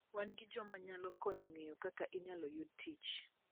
Wan gi joma nyalo konyi ng'eyo kaka inyalo yudo tich.